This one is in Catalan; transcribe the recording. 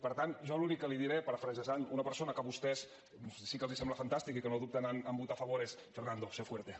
per tant jo l’únic que li diré parafrasejant una persona que a vostès sí que els sembla fantàstica i que no dubten en votar a favor és fernando sé fuerte